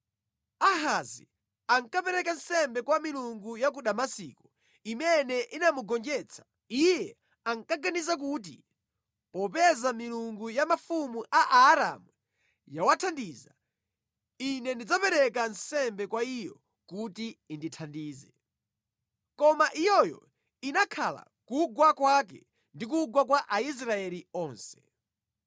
Ahazi ankapereka nsembe kwa milungu ya ku Damasiko, imene inamugonjetsa. Iye ankaganiza kuti, “Popeza milungu ya mafumu a Aaramu yawathandiza, ine ndidzapereka nsembe kwa iyo kuti indithandize.” Koma iyoyo inakhala kugwa kwake ndi kugwa kwa Aisraeli onse.